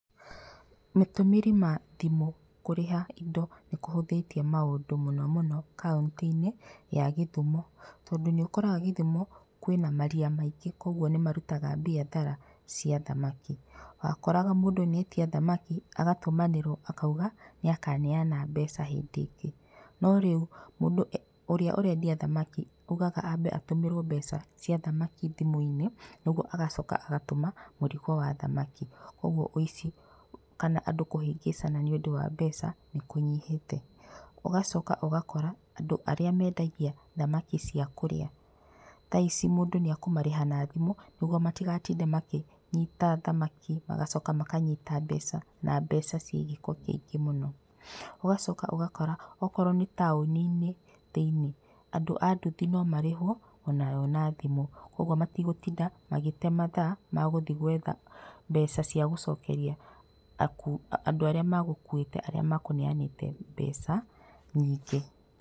Matũmĩri ma thimũ kũrĩha indo nĩ kũhũthĩtie maũndũ mũno mũno kauntĩ-inĩ ya gĩthumo. Tondũ nĩ ũkoraga gĩthumo kwĩna maria maingĩ koguo nĩ marutaga biacara cia thamaki. Wakoraga mũndũ nĩetia thamaki, agatũmanĩrwo akauga nĩ akaneana mbeca hũndĩ ĩngĩ. No rĩu mũndũ ũrĩa ũrendia thamaki augaga ambe atũmĩrwo mbeca cia thamaki thimũ-inĩ, nĩguo agacoka agatũma mũrigo wa thamaki, kogu ũici kana andũ kũhĩngĩcana nĩũndũ wa mbeca, nĩ kũnyihĩte. Ũgacoka ũgakora andũ arĩa mendagia thamaki cia kũrĩa, thaici mũndũ nĩ ekũmarĩha na thimũ, nĩguo matigatinde makĩnyita thamaki magacoka makanyita mbeca na mbeca ciĩ gĩko kĩingĩ mũno. Ũgacoka ũgakora, okorwo nĩ taũni-inĩ thĩiniĩ, andũ a nduthi no marĩhwo onao na thimũ, koguo matigũtinda magĩte mathaa magũthiĩ gwetha mbeca cia gũcokeria, andũ arĩa megũkĩte arĩa mekũneanĩte mbeca nyingĩ.